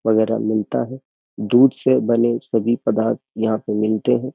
वगैरह मिलता है दूध से बने सभी पदार्थ यहाँ पे मिलते हैं।